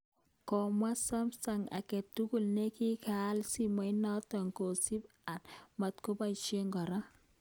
Komwaach Sumsung agetugul nekigaoal simenoto kosiman a matkoboisye kora